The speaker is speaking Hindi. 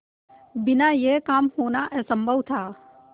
बिना यह काम होना असम्भव था